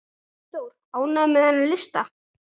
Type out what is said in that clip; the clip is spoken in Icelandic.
Eyþór, ánægður með þennan lista?